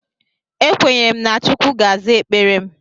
Ekwenyere na Chukwu ga-aza ekpere m.